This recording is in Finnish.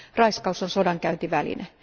Raiskaus on sodankäyntiväline.